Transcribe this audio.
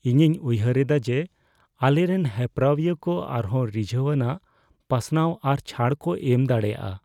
ᱤᱧᱤᱧ ᱩᱭᱦᱟᱹᱨᱮᱫᱟ ᱡᱮ ᱟᱞᱮᱨᱮᱱ ᱦᱮᱯᱨᱟᱣᱤᱭᱟᱹ ᱠᱚ ᱟᱨᱦᱚᱸ ᱨᱤᱡᱷᱟᱹᱣᱟᱱᱟᱜ ᱯᱟᱥᱱᱟᱣ ᱟᱨ ᱪᱷᱟᱹᱲ ᱠᱚ ᱮᱢ ᱫᱟᱲᱮᱭᱟᱜᱼᱟ